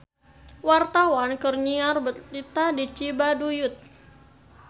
Wartawan keur nyiar berita di Cibaduyut